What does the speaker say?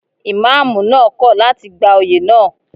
Ìmámúù náà kò láti gba oyè náà.